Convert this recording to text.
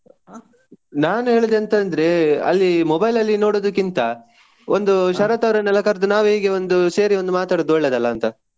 ನಾನು ಹೇಳುದು ಎಂತ ಅಂದ್ರೆ ಅಲ್ಲಿ mobile ಅಲ್ಲಿ ನೋಡಿದಕ್ಕಿಂತ, ಒಂದು ಶರತ್ ಅವರನ್ನೆಲ್ಲ ಕರ್ದು ನಾವೇ ಹೇಗೆ ಒಂದು ಸೇರಿ ಒಂದು ಮಾತಾಡುದು ಒಳ್ಳೆಯದಲ್ಲ ಅಂತ.